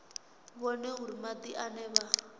vhone uri madi ane vha